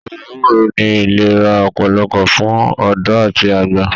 Ọbẹ ewúro ní ìlera ọpọlọpọ fún ọdọ àti àgbà.